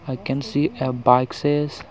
I can see a boxes